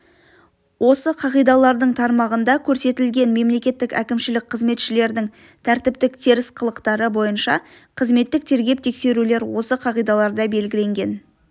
осы қағидалардың тармағында көрсетілген мемлекеттік әкімшілік қызметшілердің тәртіптік теріс қылықтары бойынша қызметтік тергеп-тексерулер осы қағидаларда белгіленген